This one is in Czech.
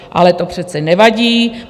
Ale to přece nevadí.